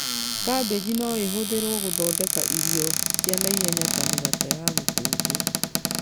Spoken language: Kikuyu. Kambĩji no ĩhũthĩrwo gũthondeka irio cia naihenya ta mĩgate ya gũkũnjwo